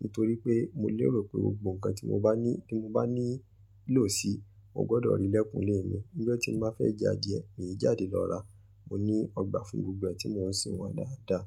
Nítorí pé mo lérò pé gbogbo nǹkan tí mo bá ní, tí mo bá ní ìlò si, mo gbọ́dọ̀ rí lẹ́kùnlé mi. Nígbà tí mo bá fẹ́ ja adìẹ, mi ò jáde lọ ra. Mo ní ọgbà fún gbogbo ẹ́ tí mo ń sin wọ́n dáadáa.